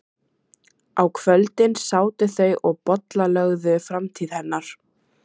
Á kvöldin sátu þau og bollalögðu framtíð hennar.